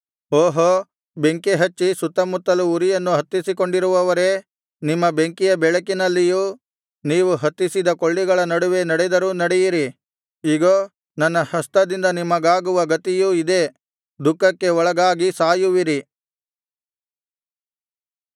ಓಹೋ ಬೆಂಕಿಹಚ್ಚಿ ಸುತ್ತಮುತ್ತಲು ಉರಿಯನ್ನು ಹತ್ತಿಸಿಕೊಂಡಿರುವವರೇ ನಿಮ್ಮ ಬೆಂಕಿಯ ಬೆಳಕಿನಲ್ಲಿಯೂ ನೀವು ಹತ್ತಿಸಿದ ಕೊಳ್ಳಿಗಳ ನಡುವೆ ನಡೆದರೂ ನಡೆಯಿರಿ ಇಗೋ ನನ್ನ ಹಸ್ತದಿಂದ ನಿಮಗಾಗುವ ಗತಿಯು ಇದೇ ದುಃಖಕ್ಕೆ ಒಳಗಾಗಿ ಸಾಯುವಿರಿ